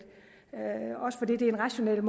også fordi det er en rationel